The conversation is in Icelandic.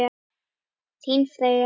Þín Freyja.